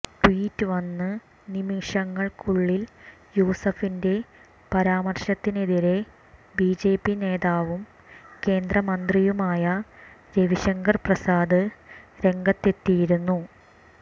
tweet വന്ന് നിമിഷങ്ങൾക്കുള്ളിൽ യൂസഫിന്റെ പരാമർശത്തിനെതിരെ ബിജെപി നേതാവും കേന്ദ്രമന്ത്രിയുമായ രവിശങ്കർ പ്രസാദ് രംഗത്തെത്തിയിരുന്നു